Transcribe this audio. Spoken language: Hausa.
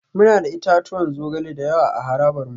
Muna da itatuwan zogale da yawa a harabar mu